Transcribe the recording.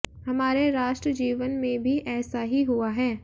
हमारे राष्ट्र जीवन में भी ऐसा ही हुआ है